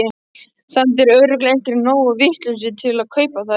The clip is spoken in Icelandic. Samt eru örugglega einhverjir nógu vitlausir til að kaupa þær.